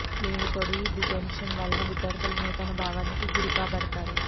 దీనికి తోడు ఈ డిటెన్షన్ వలన విద్యార్థులు న్యూనతా భావానికి గురికాబడతారు